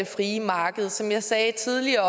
frie marked som jeg sagde tidligere